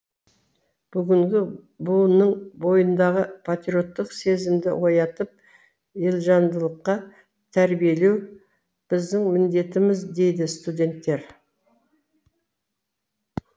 бүгінгі буынның бойындағы патриоттық сезімді оятып елжандылыққа тәрбиелеу біздің міндетіміз дейді студенттер